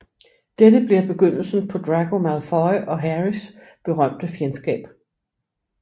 Dette bliver begyndelsen på Draco Malfoy og Harrys berømte fjendskab